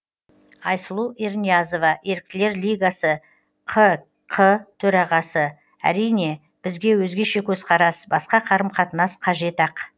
айсұлу ерниязова еріктілер лигасы ққ төрағасы әрине бізге өзгеше көзқарас басқа қарым қатынас қажет ақ